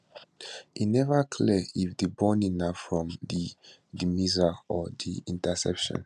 e neva clear if di burning na from di di missiles or di interceptions